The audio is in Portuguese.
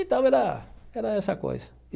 Então era era essa coisa.